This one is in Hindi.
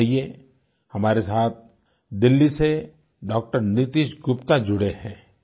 आइये हमारे साथ दिल्ली से डाक्टर नीतेश गुप्ता जुड़े हैं